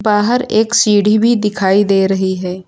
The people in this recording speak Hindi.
बाहर एक सीढ़ी भी दिखाई दे रही है।